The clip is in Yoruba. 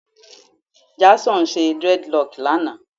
Jason ṣe dreadlocks lana